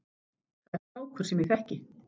Það er strákur sem ég þekki.